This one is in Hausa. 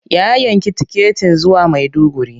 Ya yanki tiketin zuwa Maiduguri.